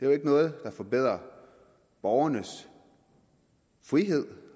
jo ikke noget der forbedrer borgernes frihed